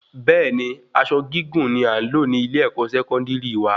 Bẹẹni aṣọ gígùn ni a nlo ni ile-ẹkọ Sẹkọndiri wa